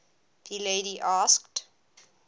the lady asked